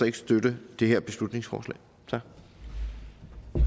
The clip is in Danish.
ikke støtte det her beslutningsforslag